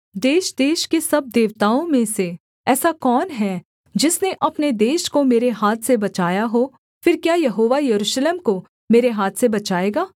देशदेश के सब देवताओं में से ऐसा कौन है जिसने अपने देश को मेरे हाथ से बचाया हो फिर क्या यहोवा यरूशलेम को मेरे हाथ से बचाएगा